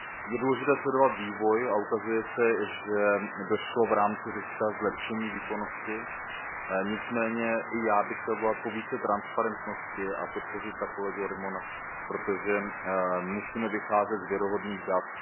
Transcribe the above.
Je důležité sledovat vývoj a ukazuje se, že došlo v rámci Řecka k zlepšení výkonnosti, nicméně i já bych chtěl volat po větší transparentnosti a podpořit tak kolegu Arimonta, protože musíme vycházet z věrohodných dat.